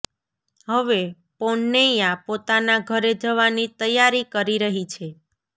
હવે પોન્નૈયા પોતાના ઘરે જવાની તૈયારી કરી રહી છે